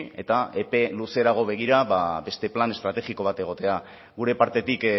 eta epe luzeago begira beste plan estrategiko bat egotea gure partetik